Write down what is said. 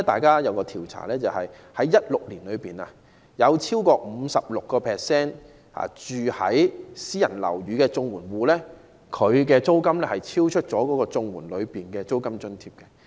有一項調查顯示，在2016年，超過 56% 住在私人樓宇的綜援戶，其租金超出綜援的租金津貼。